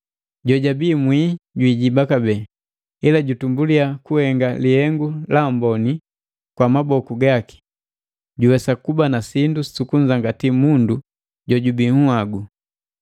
Jojabii mwii jwiijiba kabee, ila jutumbuliya kuhenga lihengu la amboni kwa maboku gaki, juwesa kuba na sindu su kunzangati mundu jojubii nhagu.